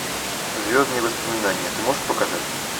звездные воспоминания ты можешь показать